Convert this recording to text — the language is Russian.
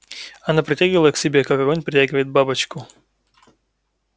она притягивала его к себе как огонь притягивает бабочку